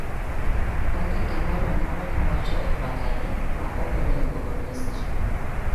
Onge gimoro amora mowach e mbakani ma okonego onyis ji.